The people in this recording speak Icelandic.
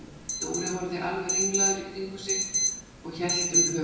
Dóri horfði alveg ringlaður í kringum sig og hélt um höfuðið.